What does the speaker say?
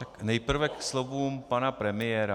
Tak nejprve ke slovům pana premiéra.